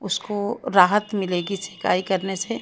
उसको राहत मिलेगी सिकाई करने से।